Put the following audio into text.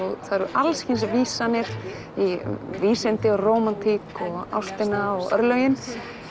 það eru alls kyns vísanir í vísindi og rómantík og ástina og örlögin